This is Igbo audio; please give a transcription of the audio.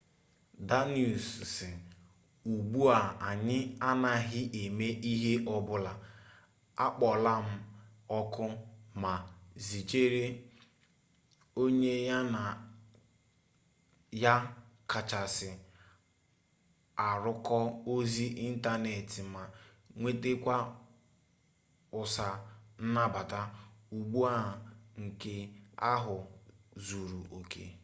danius si ugbu a anyị anaghị eme ihe ọbụla akpọọlam oku ma zijere onye ya na ya kacha arụkọ ozi ịntaneetị ma nwetekwa ụsa nnabata ugbua nke ahụ zuru oke